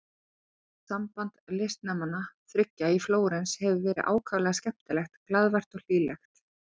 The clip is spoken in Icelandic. Samband listnemanna þriggja í Flórens hefur verið ákaflega skemmtilegt, glaðvært og hlýlegt.